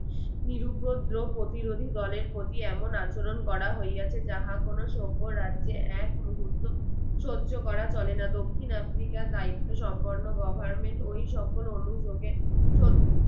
নিরুপদ্রব ও প্রতিরোধী দলের প্রতি এমন আচরণ করা হইয়াছে যাহা কোনো সভ্য রাজ্যে এক মুর্হুত সহ্য করা চলে না দক্ষিণ আফ্রিকার দায়িত্ত্ব সম্পন্ন government ওই সকল